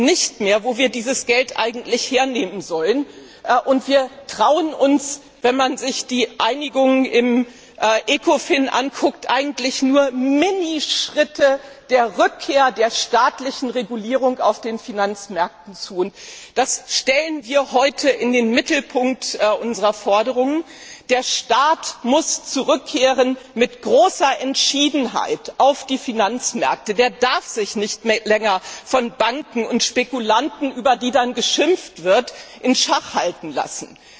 Wir wissen nicht mehr, wo wir dieses Geld eigentlich hernehmen sollen, und wir trauen uns wenn man sich die Einigung im ECOFIN ansieht eigentlich nur Minischritte der Rückkehr zur staatlichen Regulierung auf den Finanzmärkten zu. Das stellen wir heute in den Mittelpunkt unserer Forderung Der Staat muss mit großer Entschiedenheit auf die Finanzmärkte zurückkehren. Er darf sich nicht länger von Banken und Spekulanten, über die dann geschimpft wird, in Schach halten lassen!